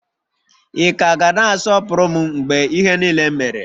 Ị ka ga na-asọpụrụ m mgbe ihe niile mere?